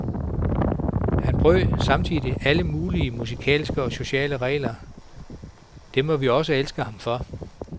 Han brød samtidig alle mulige musikalske og sociale regler, det må vi også elske ham for.